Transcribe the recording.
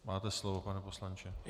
Máte slovo, pane poslanče.